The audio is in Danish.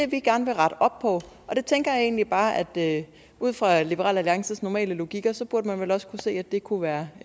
vi gerne vil rette op på og der tænker jeg egentlig bare at at ud fra liberal alliances normale logik burde man vel også kunne se at det kunne være